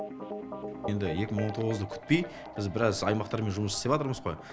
енді екі мың он тоғызды күтпей біз біраз аймақтармен жұмыс істеватырмыз ғой